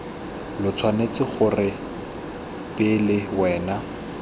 lo tshwanetse gore pele wena